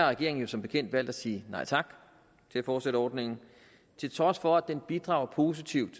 regeringen jo som bekendt valgt at sige nej tak til at fortsætte ordningen til trods for at den bidrager positivt